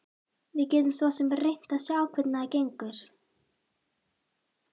Við getum svo sem reynt að sjá hvernig það gengur.